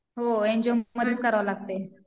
हो एनजीओमध्येच करावं लागते.